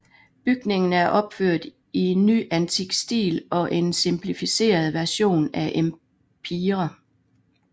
Bygningen er opført i nyantik stil og en simplificeret version af empire